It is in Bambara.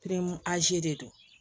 de don